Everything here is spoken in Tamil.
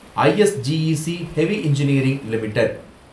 I S G E C heavy engineering limited